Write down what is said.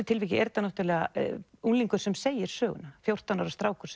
tilviki er þetta unglingur sem segir söguna fjórtán ára strákur